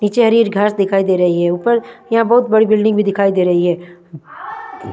निचे हरी-हरी घास दिखाई दे रही है ऊपर यहाँ बहोत बड़ी बिल्डिंग भी दिखाई दे रही है।